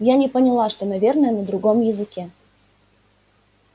я не поняла что наверное на другом языке